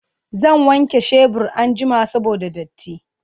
Zan wanke shebur anjima saboda datti